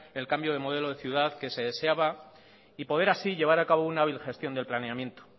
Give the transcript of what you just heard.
el cambio de modelo de ciudad que se deseaba y poder así llevar a cabo una birgestión del planeamiento